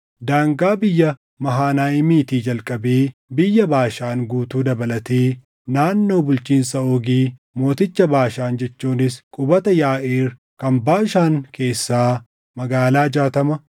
Daangaa biyya Mahanayiimiitii jalqabee biyya Baashaan guutuu dabalatee naannoo bulchiinsa Oogi mooticha Baashaan jechuunis qubata Yaaʼiir kan Baashaan keessaa magaalaa jaatama,